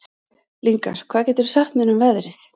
Lyngar, hvað geturðu sagt mér um veðrið?